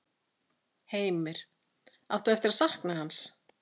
Heimir: Átt þú eftir að sakna hans?